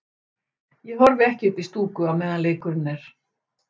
Ég horfi ekki upp í stúku á meðan leikurinn er.